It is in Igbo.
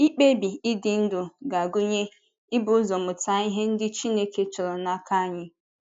Mkpebi ịdị ndụ ga-agụnye ibu ụzọ mụta ihe ndị Chineke chọrọ n’aka anyị.